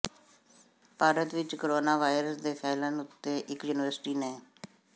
ਭਾਰਤ ਵਿਚ corona virus ਦੇ ਫੈਲਣ ਉਤੇ ਇਕ ਯੂਨੀਵਰਸਿਟੀ ਨੇ